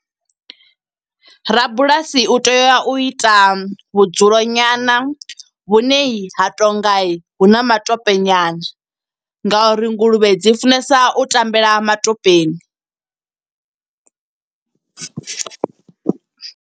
Rabulasi u tea u ita vhudzulo nyana, vhune ha tonga hu na matope nyana nga uri nguluvhe dzi funesa u tambela matopeni.